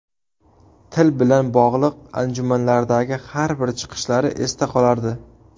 Til bilan bog‘liq anjumanlardagi har bir chiqishlari esda qolardi.